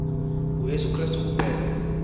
nguyesu krestu kuphela